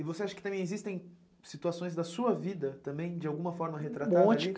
E você acha que também existem situações da sua vida, também, de alguma forma, retratadas ali? Um monte